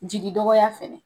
Jigi dɔgɔya fɛnɛ